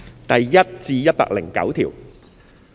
第1至109條。